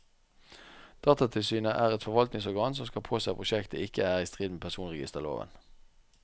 Datatilsynet er et forvaltningsorgan som skal påse at prosjektet ikke er i strid med personregisterloven.